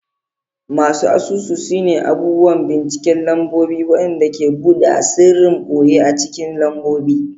Masu asusu sune abubuwan binciken lambobi waɗanda ke buɗe asirin ɓoye a cikin lambobi.